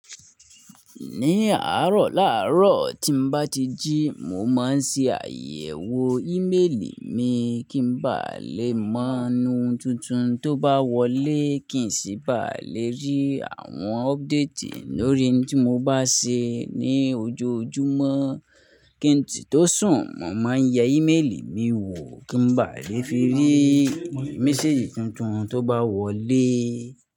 Ní àárọ̀ làárọ̀ tí n bá ti jí, mo máa ń ṣe àyẹ̀wò ímélì mi kí n ba lè mọ́ n tuntun tó bá wọlé, kí n sì ba lè rí àwọn update lórí ohun tí mo bá ṣe ní ojoojúmọ́. Kí n tí tó sùn, mo máa ń yẹ́ ímélì mi wò kí n ba lè fi rí méséjì tuntun tó bá wọlé.